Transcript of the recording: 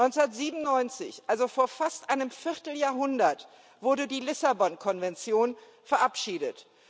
1997, also vor fast einem Vierteljahrhundert, wurde die Lissabon Konvention verabschiedet.